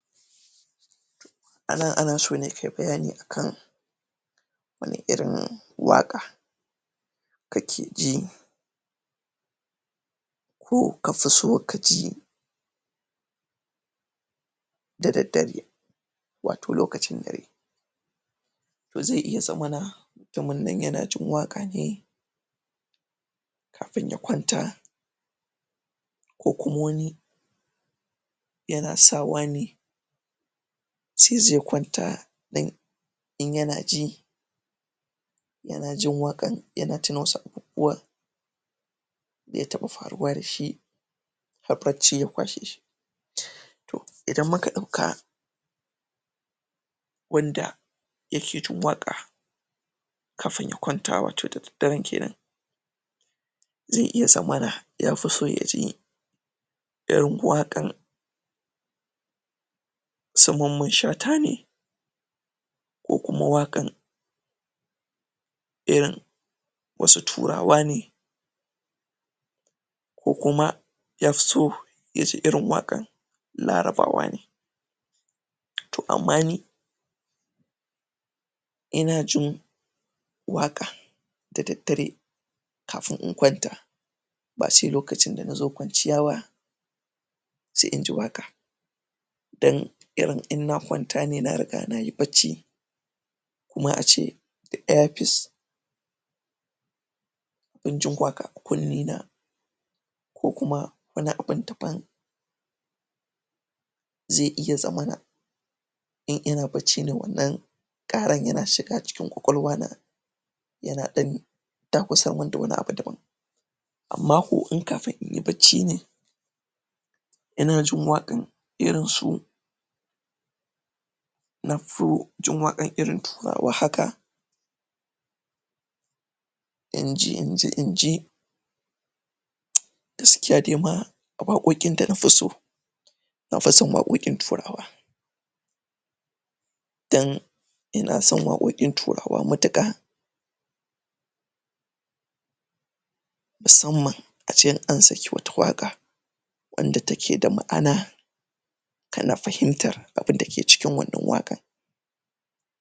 A nan ana so ne kai bayani akan wane irin waƙa ka ke ji, ko kafi so ka ji da daddare, wato lokacin dare, to zai iya zamana mutumin nan ya na jin waƙa ne kafin ya kwanta ko kuma wani ya na sawa ne sai ze kwanta dan in ya na ji ya na jin waƙan ya na tuna wasu abubuwa da ya taɓa faruwa da shi har bacci ya kwashe shi, to idan muka ɗauka wanda ya ke jin waƙa kafin ya kwanta wato da daddaren kenan, zai iya zamana ya fi so ya ji irin waƙan su mamman shata ne, ko kuma waƙan irin wasu turawa ne, ko kuma ya fi so ya ji irin waƙan larabawa ne, to amma ni ina jin waƙa da daddare kafin in kwanta ba sai lokacinda na zo kwanciya ba sai inji waƙa, dan irin in na kwanta ne na riga na yi bacci kuma a ce da earpiece ina jin waƙa a kunnena ko kuma wani abun daban zai iya zamana in ina bacci ne wannan ƙaran ya na shiga cikin ƙwaƙwalwana ya na ɗan dakusa min da wani abu daban, amma kau in kafin inyi bacci ne ina jin waƙan irin su: na fi jin irin waƙan turawa haka inji nji inji gaskiya de ma waƙoƙin da nafi so nafi son waƙoƙin turawa, don ina son waƙoƙin turawa matuƙa, musamman ace in an saki wata waƙa, wanda take da ma'ana tana fahimtar abinda ke cikin wannan waƙar.